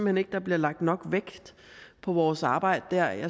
hen ikke der bliver lagt nok vægt på vores arbejde der